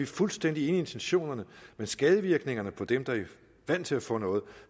fuldstændig enige i intentionerne men skadevirkningerne for dem der er vant til at få noget